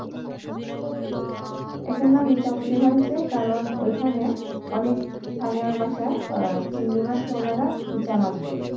এটার নাম ইচ্ছামতি হয়েছে কারণ ওই খানে অনেক স্থানীয় ভাষায় আহ চিংড়ি মাছকে ওনারা ইচ্ছা মাছ বলে।